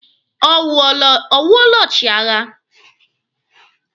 Ọ wụọla ọchịagha?